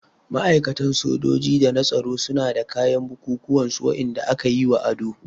Ma'aikatan sojoji da na tsaro suna da kayan bukukuwan su Wanda aka yi wa ado.